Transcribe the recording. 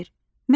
Məsələn.